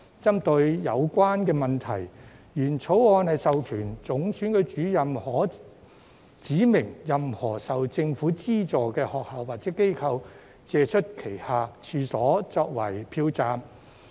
針對有關問題，原來的《條例草案》授權總選舉主任可指明任何受政府資助的學校或機構，借出旗下處所作為票站。